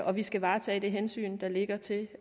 og vi skal varetage det hensyn der ligger til